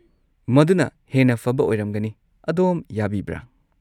ꯃꯗꯨꯅ ꯍꯦꯟꯅ ꯐꯕ ꯑꯣꯏꯔꯝꯒꯅꯤ, ꯑꯗꯣꯝ ꯌꯥꯕꯤꯕ꯭ꯔꯥ꯫